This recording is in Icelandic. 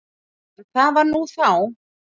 En það var nú þá.